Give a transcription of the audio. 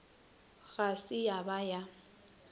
ga se ya ba ya